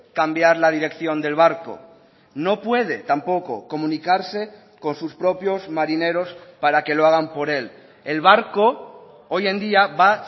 cambiar la dirección del barco no puede tampoco comunicarse con sus propios marineros para que lo hagan por él el barco hoy en día va